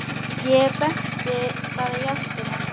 Ég benti bara í áttina.